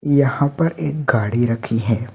यहां पर एक गाड़ी रखी है।